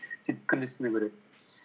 сөйтіп күндіз түні көресің